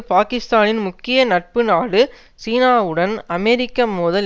பாக்கிஸ்தானின் முக்கிய நட்பு நாடுசீனாவுடன் அமெரிக்க மோதல்